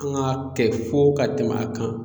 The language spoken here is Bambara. An g'a kɛ fo ka tɛmɛ a kan